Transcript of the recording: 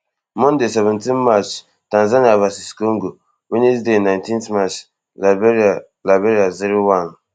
monday seventeen march tanzania vs congo wednesday nineteen march liberia liberia zero one